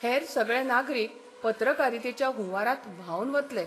हेर सगळे नागरीक पत्रकारितेच्या हुंवारांत व्हांवन वतले.